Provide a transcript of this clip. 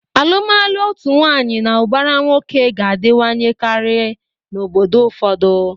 Alụmalụ otu nwaanyị na ụbara nwoke ga-adịwanyekarị n'obodo ụfọdụ.